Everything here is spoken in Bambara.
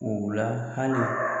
Hula hali